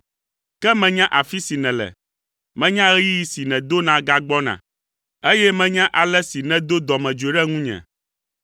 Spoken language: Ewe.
“Ke menya afi si nèle. Menya ɣeyiɣi si nèdona gagbɔna, eye menya ale si nèdo dɔmedzoe ɖe ŋunye.